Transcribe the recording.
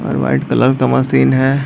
और white colour का machine है।